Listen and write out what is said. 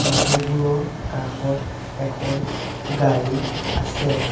মানুহবোৰৰ কাষত এখন গাড়ী আছে।